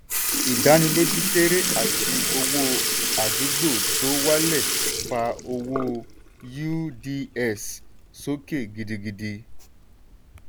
ìdánilójú kéré àti owó àdúgbò tó wálẹ̀ fa owó uds sókè gidigidi.